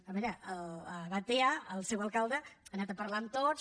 a veure a batea el seu alcalde ha anat a parlar amb tots